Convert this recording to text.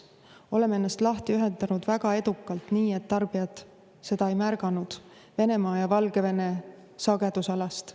Me oleme ennast lahti ühendanud väga edukalt, nii et tarbijad seda ei märganud, Venemaa ja Valgevene sagedusalast.